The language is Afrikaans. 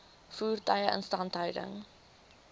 voertuie instandhouding